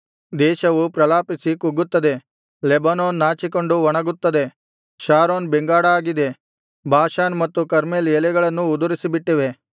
ದೇಶವು ಪ್ರಲಾಪಿಸಿ ಕುಗ್ಗುತ್ತದೆ ಲೆಬನೋನ್ ನಾಚಿಕೊಂಡು ಒಣಗುತ್ತದೆ ಶಾರೋನ್ ಬೆಂಗಾಡಾಗಿದೆ ಬಾಷಾನ್ ಮತ್ತು ಕರ್ಮೆಲ್ ಎಲೆಗಳನ್ನು ಉದುರಿಸಿಬಿಟ್ಟಿವೆ